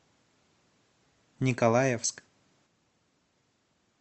николаевск